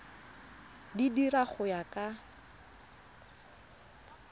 di dira go ya ka